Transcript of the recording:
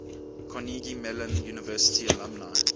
carnegie mellon university alumni